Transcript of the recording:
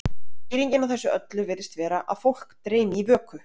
skýringin á þessu öllu virðist vera að fólk dreymi í vöku